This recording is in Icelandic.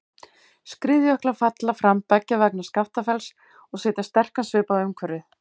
Skriðjöklar falla fram beggja vegna Skaftafells og setja sterkan svip á umhverfið.